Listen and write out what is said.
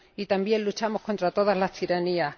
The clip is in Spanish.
Y también luchamos contra todas las tiranías.